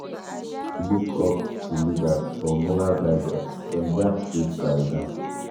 Pipo dey look up to leaders for moral guidance; dem gatz lead by example.